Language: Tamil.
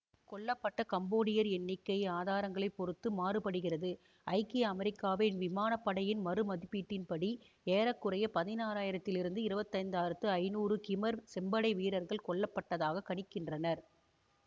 கொல்ல பட்ட கம்போடியர் எண்ணிக்கை ஆதாரங்களை பொருத்து மாறுபடுகிறது ஐக்கிய அமெரிக்காவின் விமான படையின் மதிப்பீட்டின்படி ஏற குறைய பதினாறு ஆயிரத்திலிருந்து இருபத்தி ஐந்து ஆயிரத்தி ஐநூறு கிமர் செம்படை வீரர்கள் கொல்ல பட்டதாக கணிக்கின்றனர்